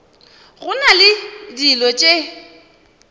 go na le dilo tše